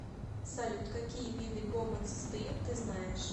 салют какие виды гомоцистеин ты знаешь